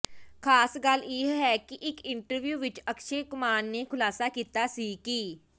ਖਾਸ ਗੱਲ ਇਹ ਹੈ ਕਿ ਇੱਕ ਇੰਟਰਵਿਊ ਵਿੱਚ ਅਕਸ਼ੇ ਕੁਮਾਰ ਨੇ ਖੁਲਾਸਾ ਕੀਤਾ ਸੀ ਕਿ